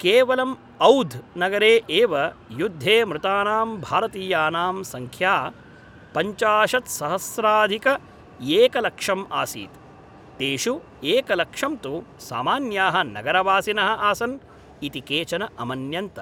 केवलम् औध् नगरे एव युद्धे मृतानां भारतीयानां सङ्ख्या पञ्चाशत्सहस्राधिकएकलक्षम् आसीत्, तेषु एकलक्षं तु सामान्याः नगरवासिनः आसन् इति केचन अमन्यन्त।